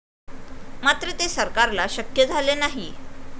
मात्र ते सरकारला शक्य झाले नाही.